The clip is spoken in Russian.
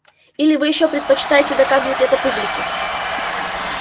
или вы все ещё предпочитаете доказывать это публике